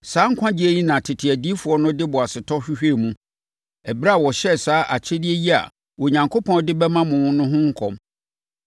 Saa nkwagyeɛ yi na tete adiyifoɔ no de boasetɔ hwehwɛɛ mu, ɛberɛ a wɔhyɛɛ saa akyɛdeɛ yi a Onyankopɔn de bɛma mo no ho nkɔm.